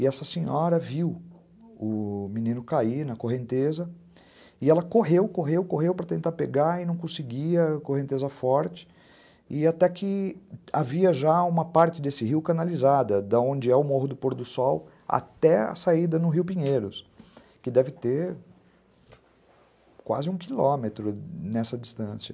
E essa senhora viu o menino cair na correnteza e ela correu, correu, correu para tentar pegar e não conseguia, correnteza forte, e até que havia já uma parte desse rio canalizada, de onde é o Morro do Por do Sol até a saída no Rio Pinheiros, que deve ter quase um quilômetro nessa distância.